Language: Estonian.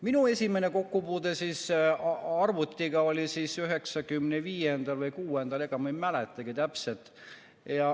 " Minu esimene kokkupuude arvutiga oli 1995. või 1996. aastal, ega ma ei mäletagi täpselt.